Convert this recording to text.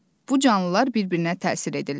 Bu canlılar bir-birinə təsir edirlər.